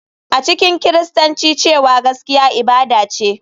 A cikin Kiristanci cewa gaskiya ibada ce,